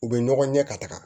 U bɛ ɲɔgɔn ɲɛ ka taga